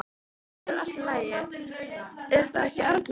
Þetta verður allt í lagi, er það ekki, Arnar minn?